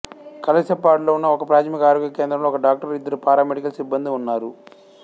కలశపాడులో ఉన్న ఒకప్రాథమిక ఆరోగ్య కేంద్రంలో ఒక డాక్టరు ఇద్దరు పారామెడికల్ సిబ్బందీ ఉన్నారు